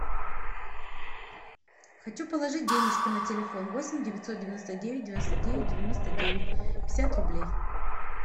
хочу положить денежку на телефон восемь девятьсот девяносто девять девяносто девять девяносто девять пятьдесят рублей